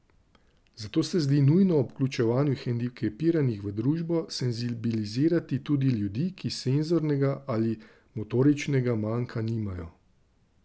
Zato se zdi nujno ob vključevanju hendikepiranih v družbo senzibilizirati tudi ljudi, ki senzornega ali motoričnega manka nimajo.